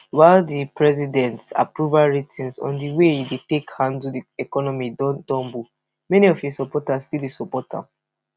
while di president approval ratings on di way e take dey handle di economy don tumble many of im supporters still dey support am